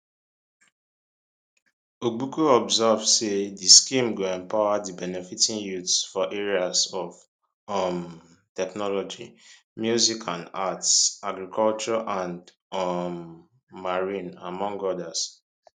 ogbuku observe say di scheme go empower di benefitting youths for areas of um technology music and arts agriculture and um marine among odas